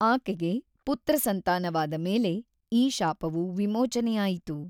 ಆಕೆಗೆ ಪುತ್ರಸಂತಾನವಾದ ಮೇಲೆ ಈ ಶಾಪವು ವಿಮೋಚನೆಯಾಯಿತು.